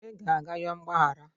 ị ga-aga yọọ mgbaghara